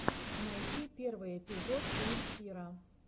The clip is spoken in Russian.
найти первый эпизод эликсира